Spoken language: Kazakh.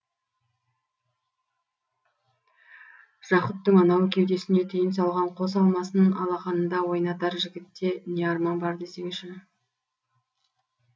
жақұттың анау кеудесіне түйін салған қос алмасын алақанында ойнатар жігітте не арман бар десеңші